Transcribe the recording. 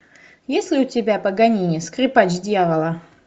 есть ли у тебя паганини скрипач дьявола